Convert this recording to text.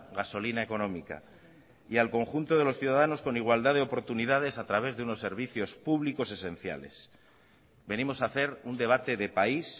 gasolina económica y al conjunto de los ciudadanos con igualdad de oportunidades a través de unos servicios públicos esenciales venimos a hacer un debate de país